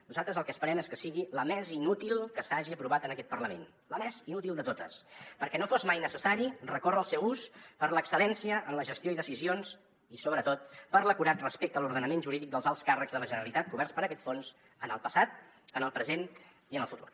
nosaltres el que esperem és que sigui la més inútil que s’hagi aprovat en aquest parlament la més inútil de totes perquè no sigui mai necessari recórrer al seu ús per l’excel·lència en la gestió i decisions i sobretot per l’acurat respecte a l’ordenament jurídic dels alts càrrecs de la generalitat coberts per aquest fons en el passat en el present i en el futur